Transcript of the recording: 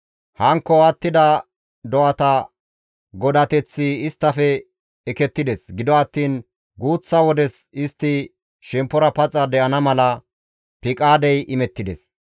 Hankko attida do7ata godateththi isttafe ekettides; gido attiin guuththa wodes istti shemppora paxa de7ana mala piqaadey imettides.